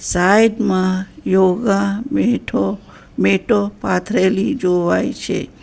Side માં યોગા મેઠો મેઠો પાથરેલી જોવાય છે.